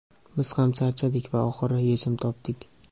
Biz ham charchadik va oxiri yechim topdik!.